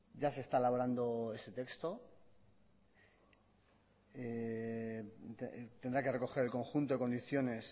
ya se está elaborando ese texto tendrá que recoger el conjunto de condiciones